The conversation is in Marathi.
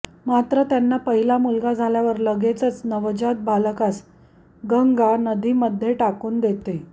मात्र त्यांना पहिला मुलगा झाल्यावर लगेच गंगा नवजात बालकास नदीमध्ये टाकून देते